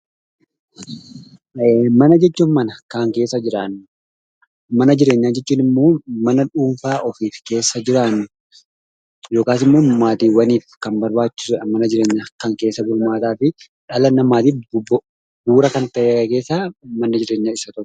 Mana jechuun mana kan keessa jiraannu. Mana jireenyaa jechuun immoo mana dhuunfaa ofiif keessa jiraannu yookaas immoo maatiiwwaniif kan barbaachisudha mana jireenyaa kan keessa bulmaataa fi dhala namaatiif bu'uura kan ta'e keessaa manni jireenyaa isa tokkodha.